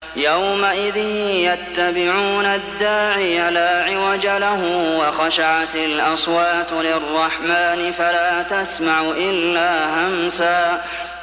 يَوْمَئِذٍ يَتَّبِعُونَ الدَّاعِيَ لَا عِوَجَ لَهُ ۖ وَخَشَعَتِ الْأَصْوَاتُ لِلرَّحْمَٰنِ فَلَا تَسْمَعُ إِلَّا هَمْسًا